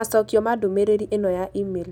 Macokio ma ndũmĩrĩri ĩno ya e-mail: